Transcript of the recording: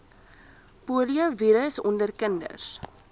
poliovirus onder kinders